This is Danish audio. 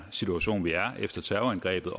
situation vi er i efter terrorangrebet